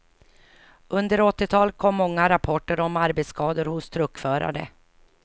Under åttiotalet kom många rapporter om arbetsskador hos truckförare.